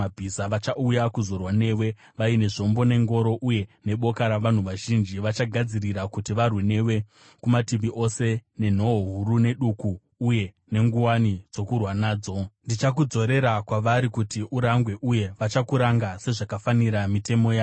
Vachauya kuzorwa newe vaine zvombo, nengoro uye neboka ravanhu vazhinji, vachagadzirira kuti varwe newe kumativi ose nenhoo huru neduku uye nenguwani dzokurwa nadzo. Ndichakudzorera kwavari kuti urangwe, uye vachakuranga sezvakafanira mitemo yavo.